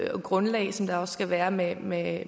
grundlag som der også skal være med med